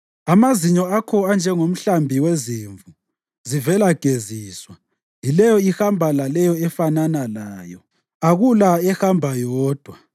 Amazinyo akho anjengomhlambi wezimvu zivela geziswa yileyo ihamba laleyo efanana layo; akula ehamba yodwa.